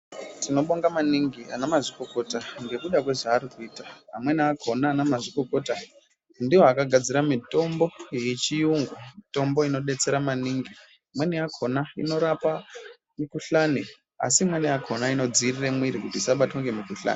Tinobonga maningi ana mazvikokota ngekuda kwezvavari kuita amweni akhona ana mazvikokota ndiwo akagadzira mitombo yechiyungu mitombo inodetsera maningi imweni yakhona inorapa mukhuhlani asi imweni yakhona inodziirire mwiri kuti isabatwa ngemukhuhlana.